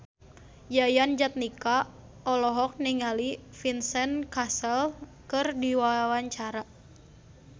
Yayan Jatnika olohok ningali Vincent Cassel keur diwawancara